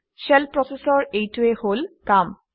shell process ৰ এইটোৱেই হল কাম